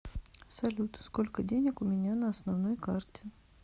салют сколько денег у меня на основной карте